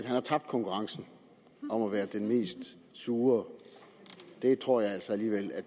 har tabt konkurrencen om at være den mest sure den tror jeg altså alligevel at